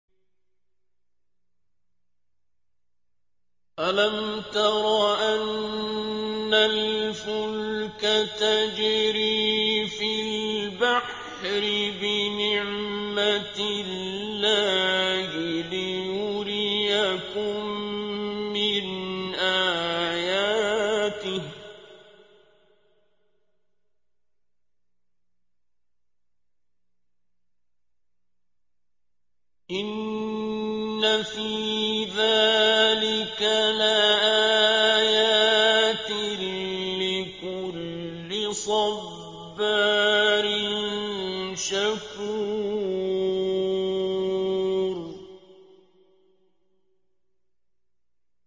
أَلَمْ تَرَ أَنَّ الْفُلْكَ تَجْرِي فِي الْبَحْرِ بِنِعْمَتِ اللَّهِ لِيُرِيَكُم مِّنْ آيَاتِهِ ۚ إِنَّ فِي ذَٰلِكَ لَآيَاتٍ لِّكُلِّ صَبَّارٍ شَكُورٍ